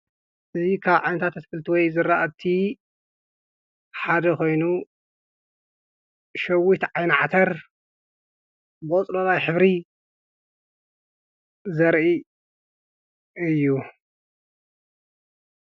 እዙይ ካብ ዓይነታት ኣተክልታት ወይ ዘራእቲ ሓደ ኾይኑ ሸዊት ዓይንዓተር በወጽሎናይኅብሪ ዘርኢ እዩ።